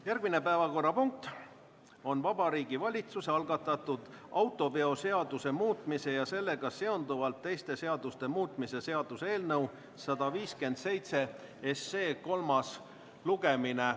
Järgmine päevakorrapunkt on Vabariigi Valitsuse algatatud autoveoseaduse muutmise ja sellega seonduvalt teiste seaduste muutmise seaduse eelnõu 157 kolmas lugemine.